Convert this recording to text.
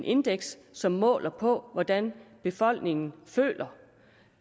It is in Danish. indeks som måler på hvordan befolkningen føler